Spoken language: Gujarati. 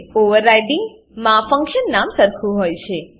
ઓવરરાઇડિંગ માં ફંક્શન નામ સરખું હોય છે